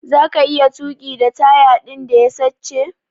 Zaka iya tuki da taya din da ya sache?